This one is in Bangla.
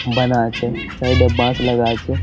বানা আছে। সাইড -এ বাঁশ লাগা আছে।